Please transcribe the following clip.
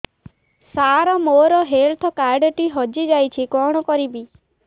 ସାର ମୋର health card ଟି ହଜି ଯାଇଛି କଣ କରିବି